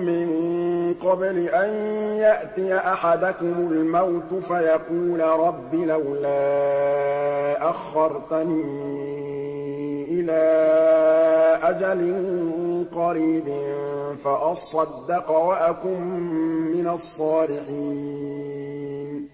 مِّن قَبْلِ أَن يَأْتِيَ أَحَدَكُمُ الْمَوْتُ فَيَقُولَ رَبِّ لَوْلَا أَخَّرْتَنِي إِلَىٰ أَجَلٍ قَرِيبٍ فَأَصَّدَّقَ وَأَكُن مِّنَ الصَّالِحِينَ